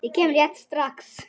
Ég kem rétt strax.